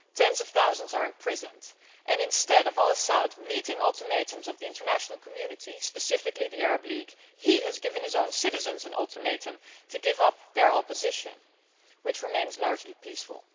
tens of thousands are imprisoned and, instead of al Assad meeting the ultimatums of the international community, specifically the Arab League, he has given his own citizens an ultimatum to give up members of the opposition, which remains largely peaceful.